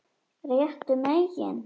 Réttu megin?